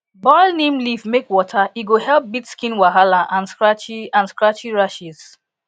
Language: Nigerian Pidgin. boil neem leaf make water e go help beat skin wahala and scratchy and scratchy rashes